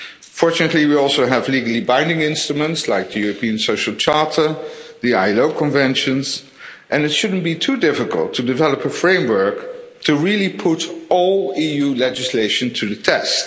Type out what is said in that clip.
Fortunately, we also have legally binding instruments like the European Social Charter, the ILO conventions, and it shouldn't be too difficult to develop a framework to really put all EU legislation to the test.